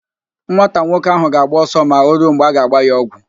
Nwata nwoke ahụ ga-agba ọsọ ma o ruo mgbe a ga-agba ya ọgwụ.